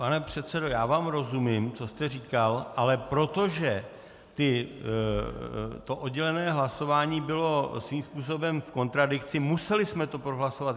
Pane předsedo, já vám rozumím, co jste říkal, ale protože to oddělené hlasování bylo svým způsobem v kontradikci, museli jsme to prohlasovat.